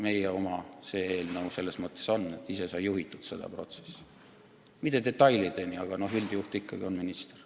Meie oma on see eelnõu selles mõttes, et ise sai seda protsessi juhitud, küll mitte detailideni, aga üldjuht ikkagi on minister.